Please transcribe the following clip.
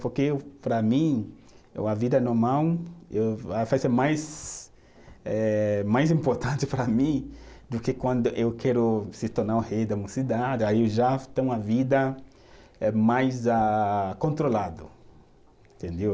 Porque eu, para mim, eh uma vida normal eh vai ser mais eh, mais importante para mim do que quando eu quero se tornar o rei da minha cidade, aí eu já tenho uma vida eh mais ah, controlado, entendeu?